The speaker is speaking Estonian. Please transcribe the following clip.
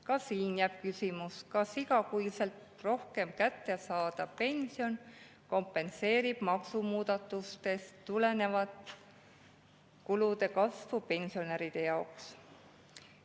Ka siin jääb küsimus, kas igakuiselt kätte saadav pension kompenseerib pensionäridele selle kulude kasvu, mis tuleneb maksumuudatustest.